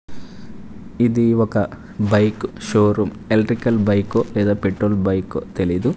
ఇది ఒక bike showroom electrical బైకో లేదా పెట్రోల్ బైకో తెలీదు.